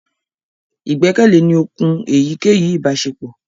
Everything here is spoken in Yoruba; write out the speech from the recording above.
igbẹkẹle ní òkun èyíkéyìí ibaṣepọ